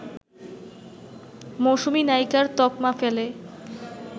মৌসুমী নায়িকার তকমা ফেলে